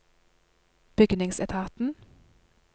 bygningsetaten